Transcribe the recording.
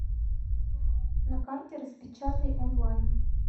на карте распечатайонлайн